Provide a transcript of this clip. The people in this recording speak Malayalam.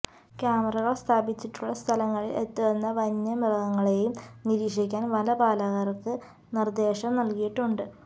ക്യാമകൾ സ്ഥാപിച്ചിട്ടുള്ള സ്ഥലങ്ങളിൽ എത്തുന്ന വന്യമൃഗങ്ങളെയും നിരീക്ഷിക്കാൻ വനപാലർക്ക് നിർദേശം നൽകിയിട്ടുണ്ട്